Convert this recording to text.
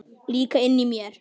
Líka inni í mér.